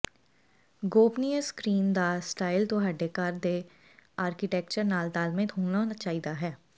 ਗੋਪਨੀਯ screen ਦਾ style ਤੁਹਾਡੇ ਘਰ ਦੇ ਆਰਕੀਟੈਕਚਰ ਨਾਲ ਤਾਲਮੇਲ ਹੋਣਾ ਚਾਹੀਦਾ ਹੈ